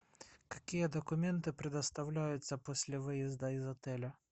какие документы предоставляются после выезда из отеля